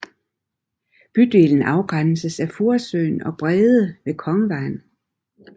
Bydelen afgrænses af Furesøen og Brede ved Kongevejen